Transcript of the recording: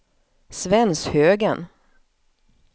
Svenshögen